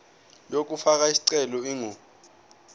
yokufaka isicelo ingu